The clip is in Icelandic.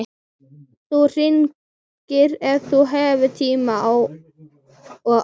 Þú hringir ef þú hefur tíma og áhuga.